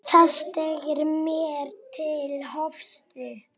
Það steig mér til höfuðs.